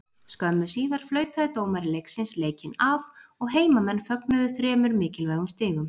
Skömmu síðar flautaði dómari leiksins leikinn af og heimamenn fögnuðu þremur mikilvægum stigum.